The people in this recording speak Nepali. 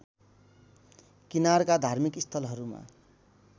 किनारका धार्मिक स्थलहरूमा